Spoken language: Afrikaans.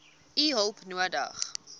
u hulp nodig